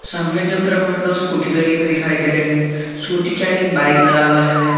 सामने के तरफ हमे दो स्कूटी लगी हुई दिखाई दे रहे है स्कूटी के आगे एक बाईक लगा हुआ है।